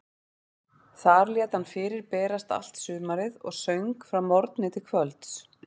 Þar lét hann fyrir berast allt sumarið og söng frá morgni til kvölds.